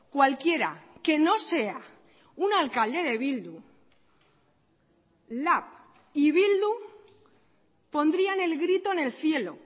cualquiera que no sea un alcalde de bildu lab y bildu pondrían el grito en el cielo